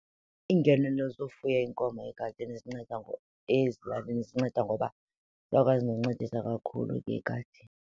Iingenelo zofuya iinkomo egadini zinceda , ezilalini zinceda ngoba ziyakwazi noncedisa kakhulu ngegadi.